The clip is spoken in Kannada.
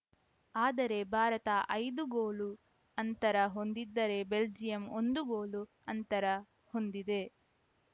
ಆದರೆ ಭಾರತ ಐದು ಗೋಲು ಅಂತರ ಹೊಂದಿದ್ದರೆ ಬೆಲ್ಜಿಯಂ ಒಂದು ಗೋಲು ಅಂತರ ಹೊಂದಿದೆ